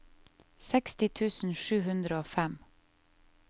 seksti tusen sju hundre og fem